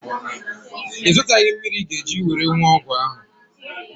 Ị zụtaghị mmiri ị ga-eji were wụọ ọgwụ ahụ?